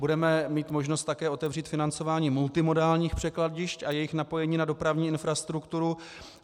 Budeme mít možnost také otevřít financování multimodálních překladišť a jejich napojení na dopravní infrastrukturu.